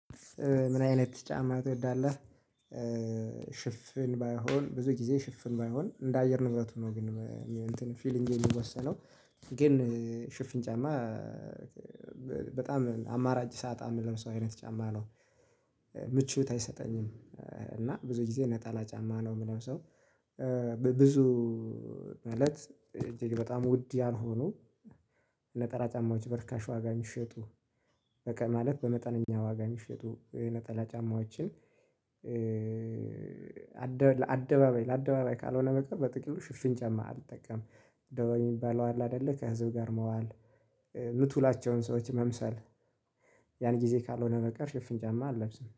ምን አይነት ጫማ ትወዳለህ? ሽፍን ባይሆን ብዙ ጊዜ ሽፍን ባይሆን እንደ አየር ንግግር ነው ግን ፊሊንጌ የሚወሰነው ግን ሽፊን ጫማ በጣም አማራጭ ሳጣ የምለብሰው ሰው አይነት ጫማ ነው። ምቾት አይሰጠኝም። እና ብዙ ጊዜ ነጣላ ጫማ ነው የምለብሰው ሰው። ብዙ እለት እጅግ በጣም ውድ ያልሆነ ነጠላ ጫማዎች በርካሽ ዋጋ ሚሸጡ በቃ ማለት በመጠነኛ ዋጋ የሚሸጡ የነጠላ ጫማዎችን። አደባባይ ካልሆነ በቀር በጥቅሉ ሽፍን ጫማ አልጠቀምም። ደወል የሚባለው አለ አይደለ ከህዝብ ጋር መዋል ምትውላቸውን ሰዎች መምሰል። ያን ጊዜ ካልሆነ በቀር ሽፍን ጫማ አልለብስም